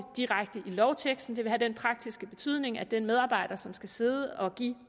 direkte i lovteksten det vil have den praktiske betydning at den medarbejder som skal sidde og give